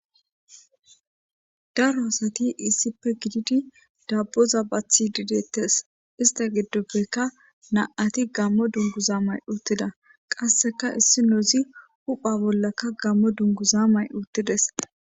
daro asati issippe gididi dabboza bathi didettes ista giddopfeka na7ati gammo dunguza may uttida qasseka issi nozi hupha bollakka gammo dunguza may uttides